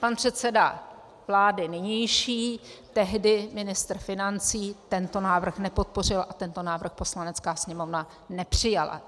Pan předseda vlády nynější, tehdy ministr financí, tento návrh nepodpořil a tento návrh Poslanecká sněmovna nepřijala.